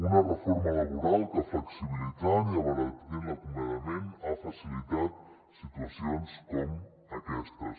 una reforma laboral que flexibilitzant i abaratint l’acomiadament ha facilitat situacions com aquestes